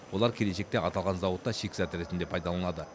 олар келешекте аталған зауытта шикізат ретінде пайдаланылады